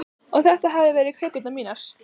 Og þetta hefðu verið kökurnar mínar.